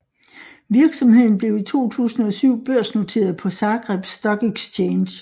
Virksomheden blev i 2007 børsnoteret på Zagreb Stock Exchange